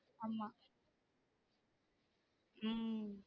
ஆமா உம்